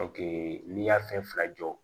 n'i y'a fɛn fila jɔ